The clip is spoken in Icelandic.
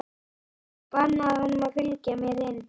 Ég bannaði honum að fylgja mér inn.